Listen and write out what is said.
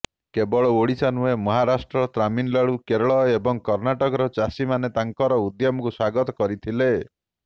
କେବଳ ଓଡ଼ିଶା ନୁହେଁ ମହାରାଷ୍ଟ୍ର ତାମିଲନାଡ଼ୁ କେରଳ ଏବଂ କର୍ଣ୍ଣାଟକର ଚାଷୀମାନେ ତାଙ୍କର ଉଦ୍ୟମକୁ ସ୍ୱାଗତ କରିଥିଲେ